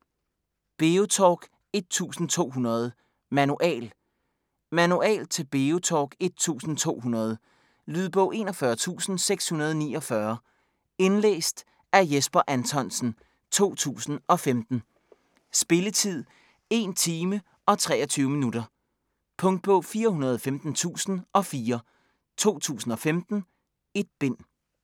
BeoTalk 1200: Manual Manual til BeoTalk 1200. Lydbog 41649 Indlæst af Jesper Anthonsen, 2015. Spilletid: 1 time, 23 minutter. Punktbog 415004 2015. 1 bind.